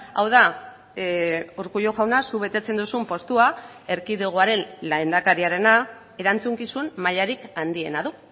hau da urkullu jauna zuk betetzen duzun postua erkidegoaren lehendakariarena erantzukizun mailarik handiena du